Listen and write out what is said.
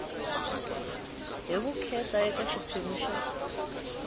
hi vukheta eka xiphemu xa